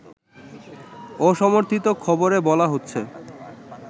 অসমর্থিত খবরে বলা হচ্ছে